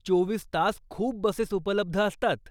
चोवीस तास खूप बसेस उपलब्ध असतात.